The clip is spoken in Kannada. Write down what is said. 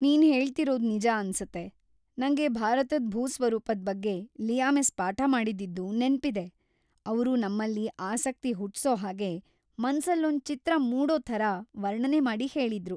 ನೀನ್‌ ಹೇಳ್ತಿರೋದ್‌ ನಿಜ ಅನ್ಸತ್ತೆ! ನಂಗೆ ಭಾರತದ್‌ ಭೂ ಸ್ವರೂಪದ್ ಬಗ್ಗೆ ‌ಲಿಯಾ ಮಿಸ್ ಪಾಠ ಮಾಡಿದ್ದಿದ್ದು ನೆನ್ಪಿದೆ. ಅವ್ರು ನಮ್ಮಲ್ಲಿ ಆಸಕ್ತಿ ಹುಟ್ಸೋ ಹಾಗೆ, ಮನ್ಸಲ್ಲೊಂದ್ ಚಿತ್ರ‌ ಮೂಡೋ ಥರ ವರ್ಣನೆ ಮಾಡಿ ಹೇಳಿದ್ರು.